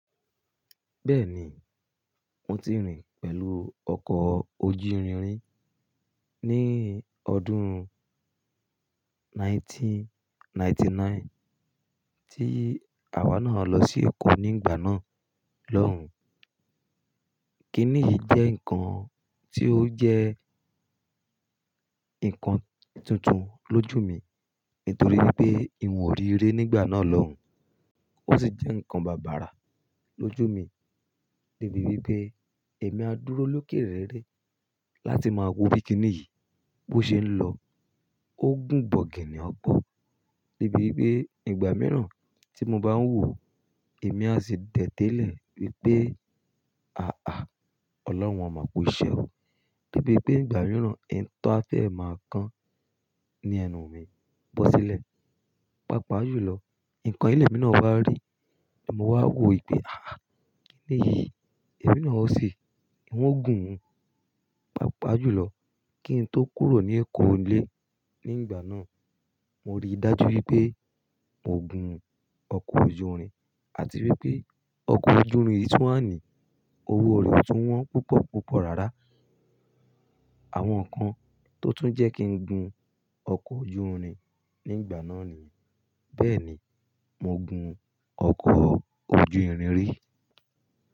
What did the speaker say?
Bẹ́ẹ̀ni, mo ti rìn pẹ̀lú ọkọ̀ ojú irin rí ní ọdún ẹgbẹ̀rún kan ó lé ọgọ́rùn-ún mẹ́sàn-án ó lé ọ̀kàndínlọ́gọ́rùn-ún tí àwa náà lọ sí Èkó ní ìgbà náà lọ́hùn. Kíní yìí jẹ́ nǹkan tí ó jẹ́ nǹkan tuntun lójú mi nítorí wipé ìwọ̀n ò rí ré nígbà náà lọ́hùn. Ó sì jẹ́ nǹkan bàbàrà lójú mi de bí wipé èmi a dúró lókè rere láti máa wo bí kínní yìí bó ṣe ń lọ. Ó gùn bọ̀gánì ọko de bí wipé ìgbà mìíràn tí mo bá ń wò ó, èmi a sì daẹ̀tẹ̀ lè wípé "àáà Ọlọ́run a máa ku iṣẹ́ o" de bi pé ìgbà mìíràn e to a fẹ́ máa kan ní ẹnu mi bọ́ sílẹ̀. Pápá àjò lọ, nǹkan yii lẹ́mi náà wa ri, mo wá wò wípé "àáà iyìí, èmi náà o si, ìwọ̀n gùn ún". Pápá àjò lọ, kí n tó kúrò ní Èkó ilé ní ìgbà náà, mo rí dájú wípé mo gùn ọkọ̀ ojú irin àti wípé ọkọ̀ ojú irin yìí tú wàní, owó rẹ̀ o tún wọ́n púpọ̀ púpọ̀ rárá. Àwọn nǹkan tó tún jẹ́ kí n gun ọkọ̀ ojú irin ní ìgbà náà nìyẹn. Bẹ́ẹ̀ni, mo gun ọkọ̀ ojú irin rí.